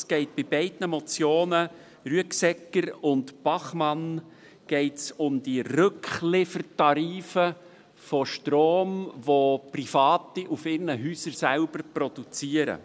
Es geht bei beiden Motionen, der Motion Rüegsegger und der Motion Bachmann , um die Rückliefertarife von Strom, den Private auf ihren Häusern selber produzieren.